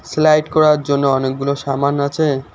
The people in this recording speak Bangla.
স্লাইড করার জন্য অনেকগুলো সামান আছে।